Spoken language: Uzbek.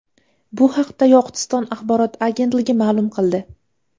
Bu haqda Yoqutiston axborot agentligi ma’lum qildi .